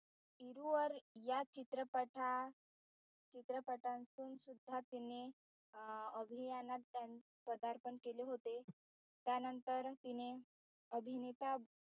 तिरुवर या चित्रपठा चित्रपटांतुन सुद्धा तिने अं अभियानपदार्पण केले होते. त्यानंतर तिने अभिनेता